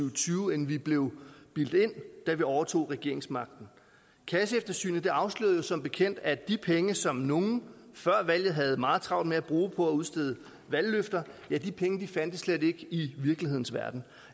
og tyve end vi blev bildt ind da vi overtog regeringsmagten kasseeftersynet afslørede som bekendt at de penge som nogle før valget havde meget travlt med at bruge på at udstede valgløfter slet ikke fandtes i virkelighedens verden